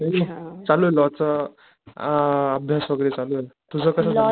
चालूये लॉच आ, अभ्यास वैगेरे चालुये.तुझं कस चालू?